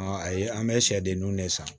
Ayi an bɛ sɛden ninnu de san